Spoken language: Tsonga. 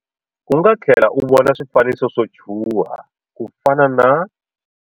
U nga tlhlela u vona swifaniso swo chuha ku fana na.